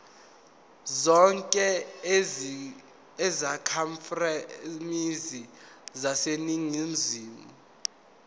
zonke izakhamizi zaseningizimu